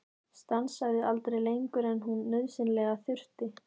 Stansaði aldrei lengur en hún nauðsynlega þurfti.